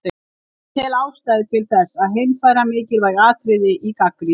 Ég tel ástæðu til þess að heimfæra mikilvæg atriði í gagnrýni